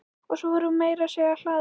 Og svo er hún meira að segja hlaðin.